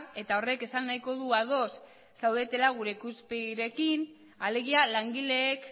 eta horrek esan nahiko du ados zaudetela gure ikuspegiarekin alegia langileek